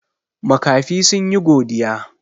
Makafi sun yi godiya.